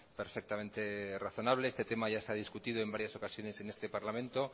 perfectamente razonable este tema ya está discutido en varias ocasiones en este parlamento